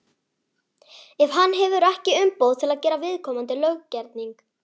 ef hann hefur ekki umboð til að gera viðkomandi löggerning.